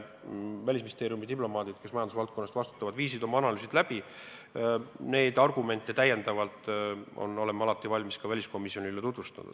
Välisministeeriumi diplomaadid, kes majandusvaldkonna eest vastutavad, tegid oma analüüsid ja esitatud argumente me oleme alati valmis ka väliskomisjonile tutvustama.